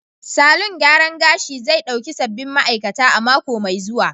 Salon gyaran gashi zai dauki sabbin ma'aikata a mako mai zuwa.